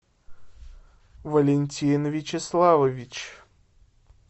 валентин вячеславович